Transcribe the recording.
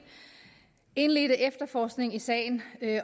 indledte efterforskning i sagen